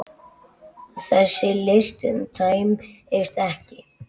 Þessi listi tæmist ekki.